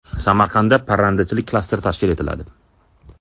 Samarqandda parrandachilik klasteri tashkil etiladi.